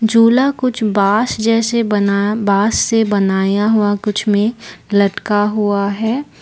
झूला कुछ बांस जैसे बना बांस से बनाया हुआ कुछ में लटका हुआ है।